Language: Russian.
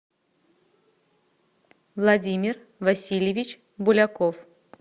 владимир васильевич буляков